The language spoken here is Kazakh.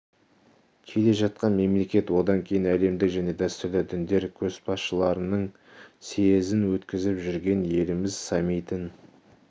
келе жатқан мемлекет одан кейін әлемдік және дәстүрлі діндер көшбасшыларының съезін өткізіп жүрген елміз саммитін